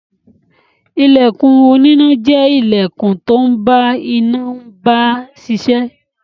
Ilẹkùn oníná jẹ́ ilẹkùn tó ń bá iná mbà mbá ṣiṣẹ́.